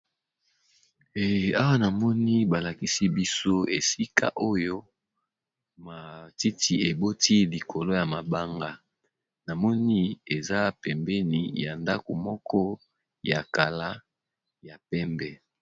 Awa namoni balakisi biso esika oyo matiti eboti likolo ya mabanga namoni eza pembeni ya ndako ya kala ya pembe.